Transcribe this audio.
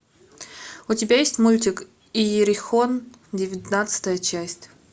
у тебя есть мультик иерихон девятнадцатая часть